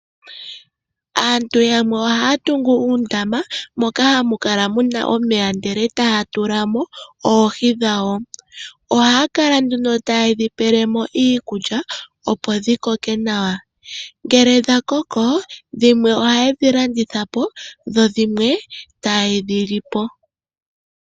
Aantu yamwe ohaya tungu uundama moka hamu kala muna omeya ndele etaya tula mo oohi dhawo. Ohaya kala nduno taye dhi pele mo iikulya opo dhi koke nawa. Ngele dha koko, dhimwe ohaye dhi landitha po, dho dhimwe taye dhi li po.